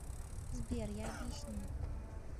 сбер я объясню